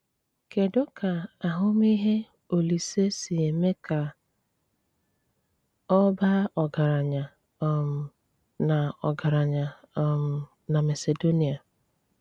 Kédụ ka àhụ̀mìhè Òlísè’ sí émé ka ọ̀ bàà ọ́gàrànyà um nà ọ́gàrànyà um nà Màsèdóníà.